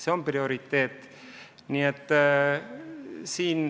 See on prioriteet.